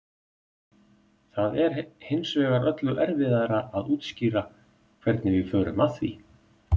Það er hins vegar öllu erfiðara að útskýra hvernig við förum að því.